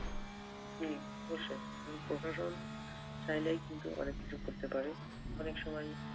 হম অবশ্যই উম প্রশাসন চাইলেই কিন্তু অনেক কিছু করতে পারে। অনেক সময়,